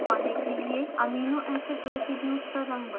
amino acid residues का रंग बदलने के लिए